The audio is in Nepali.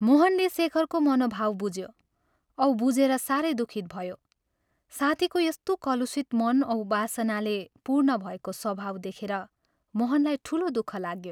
मोहनले शेखरको मनोभाव बुझ्यो औ बुझेर साह्रै दुःखित भयो साथीको यस्तो कलुषित मन औ वासनाले पूर्ण भएको स्वभाव देखेर मोहनलाई ठूलो दुःख लाग्यो।